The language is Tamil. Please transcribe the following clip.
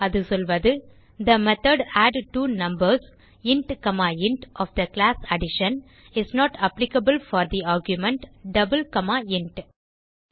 அது சொல்வது the method add two numbers int comma int of the class addition is not applicable for the argument double comma int